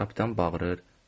Kapitan bağırır.